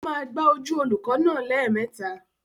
Ó máa gbá ojú olùkọ́ náà lẹ́ẹ̀mẹta.